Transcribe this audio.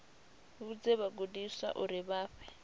vhudze vhagudiswa uri vha fhe